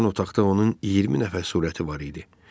Bir azdan otaqda onun 20 nəfər surəti var idi.